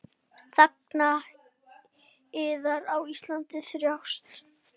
Þegnar yðar á Íslandi þjást.